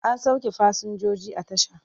An sauke fasinjoji a tasha.